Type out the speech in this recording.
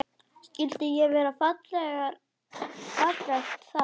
Skyldi ekki vera fallegt þar?